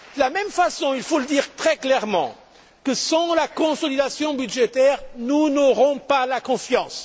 De la même façon, il faut le dire très clairement, sans la consolidation budgétaire nous n'aurons pas la confiance.